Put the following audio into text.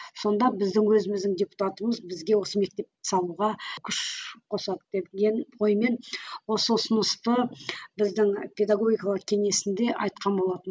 сонда біздің өзіміздің депутатымыз бізге осы мектепті салуға күш қосады деген оймен осы ұсынысты біздің педагогикалық кеңесінде айтқан болатын